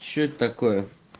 что это такое